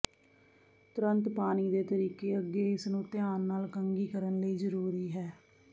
ਤੁਰੰਤ ਪਾਣੀ ਦੇ ਤਰੀਕੇ ਅੱਗੇ ਇਸ ਨੂੰ ਧਿਆਨ ਨਾਲ ਕੰਘੀ ਕਰਨ ਲਈ ਜ਼ਰੂਰੀ ਹੈ